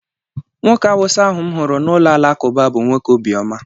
Nwoke àwusá ahu m huru n'ulo alakụba bu nwoke obi oma